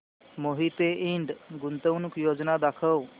मोहिते इंड गुंतवणूक योजना दाखव